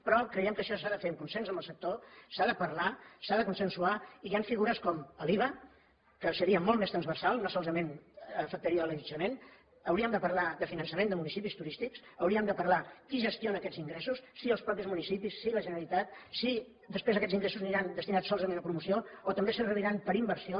però creiem que això s’ha de fer en consens amb el sector s’ha de parlar s’ha de consensuar i hi han figures com l’iva que seria molt més transversal no solament afectaria l’allotjament hauríem de parlar de finançament de municipis turístics hauríem de parlar de qui gestiona aquests ingressos si els mateixos municipis si la generalitat si després aquests ingressos aniran destinats solament a promoció o també serviran per a inversió